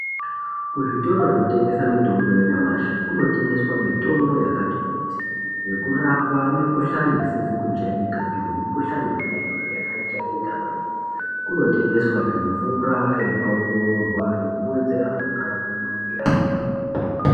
Kuzvitoro zvinotengesa mitombo yenyamashi kunotengeswa mitombo yakati kuti yekurapa mikhuhlani isizi kujairikapi nemikhuhlani yona iyoyo yakajairika kwemene kunotengeswazve mvura yakongororwa yekuwedzera mvura mumwiri mweantu.